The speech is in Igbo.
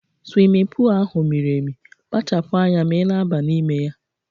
Swimin pul ahụ miri emi, kpachapu anya ma ị na-aba n'ime ya!